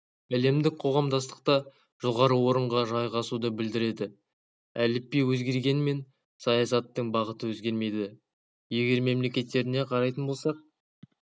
әлемдік қоғамдастықта жоғары орынға жайғасуды білдіреді әліпби өзгергенмен саясаттың бағыты өзгермейді егер мемлекеттеріне қарайтын болсақ